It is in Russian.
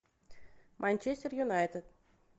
манчестер юнайтед